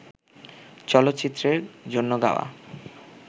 চলচ্চিত্রের জন্য গাওয়া